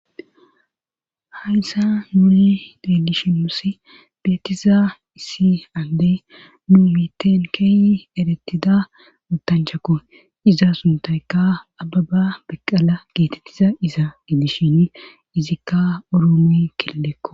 hayssa nuuri ddalishiosi beetiza issi andey nuu miiten keey erettida uttanchakko iza suntayka ababa beqqala geetettiza iza gidishin izikka uromuy kelleekko